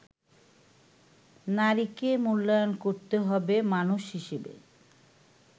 নারীকে মূল্যায়ন করতে হবে মানুষ হিসেবে।